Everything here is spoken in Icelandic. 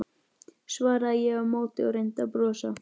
svaraði ég á móti og reyndi að brosa.